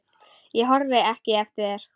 Ég horfi ekki eftir þér.